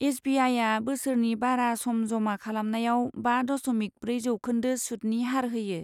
S B आइआ बा बोसोरनि बारा सम जमा खालामनायाव बा दशमिक ब्रै जौखोन्दो सुतनि हार होयो।